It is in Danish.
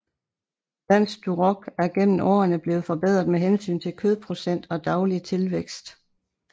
Dansk Duroc er gennem årerne blevet forbedret med hensyn til kødprocent og daglig tilvækst